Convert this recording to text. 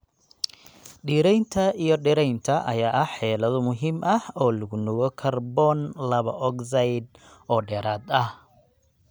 Dhiraynta iyo dhiraynta ayaa ah xeelado muhiim ah oo lagu nuugo kaarboon laba ogsaydh oo dheeraad ah